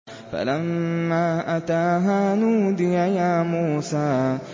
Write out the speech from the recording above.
فَلَمَّا أَتَاهَا نُودِيَ يَا مُوسَىٰ